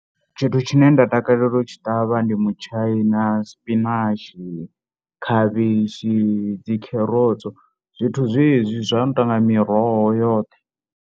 Tshithu tshine nda takalela u tshi ṱavha ndi mutshaina, spinach, khavhishi, dzi kherotso zwithu zwezwi zwa no tou nga miroho yoṱhe.